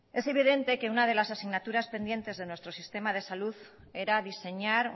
es evidente que una de las asignaturas pendientes de nuestro sistema de salud era diseñar